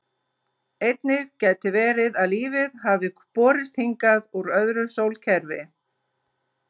Einnig gæti verið að lífið hafi borist hingað úr öðru sólkerfi.